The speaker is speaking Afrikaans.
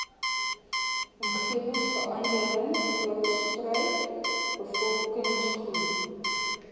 omgewingsverandering voortspruit bevolkingsgroei